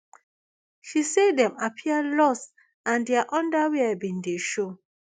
she say dem appear lost and dia underwear bin dey show